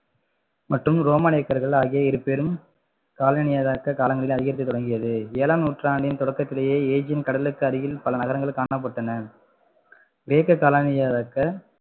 மற்றும் ரோமானியர்கள் ஆகிய இருபெரும் காலனி காலங்களில் அதிகரிக்க தொடங்கியது ஏழாம் நூற்றாண்டின் தொடக்கத்திலேயே கடலுக்கு அடியில் பல நகரங்கள் காணப்பட்டன கிரேக்க